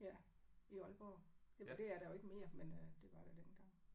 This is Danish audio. Ja. I Aalborg jamen det er der jo ikke mere men øh det var der dengang